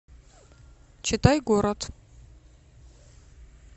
читай город